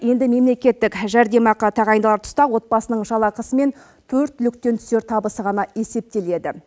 енді мемлекеттік жәрдемақы тағайындалар тұста отбасының жалақысы мен төрт түліктен түсер табысы ғана есептеледі